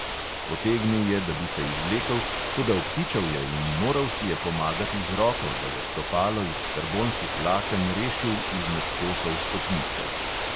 Potegnil je, da bi se izvlekel, toda obtičal je in moral si je pomagati z roko, da je stopalo iz karbonskih vlaken rešil izmed kosov stopnice.